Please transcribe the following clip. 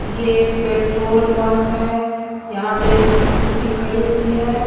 ये एक petrol pump है यहां पे एक स्कूटी खड़ी हुई है।